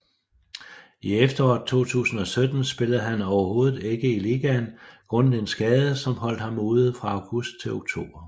I efteråret 2017 spillede han overhovedet ikke i ligaen grundet en skade som holdt ham ude fra august til oktober